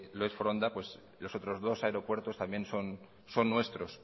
lo es foronda los otros dos aeropuertos son nuestros